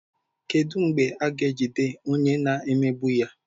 Kedu mgbe a ga-ejide onye na-emegbu ya?